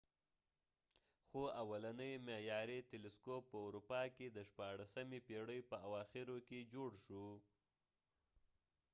خو اولنی معیاری تلسکوپ په اروپا کې د شپاړلسمې پیړۍ په اواخرو کې جوړ شو